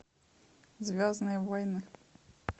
звездные войны